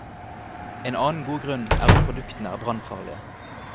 En annen god grunn er at produktene er brannfarlige.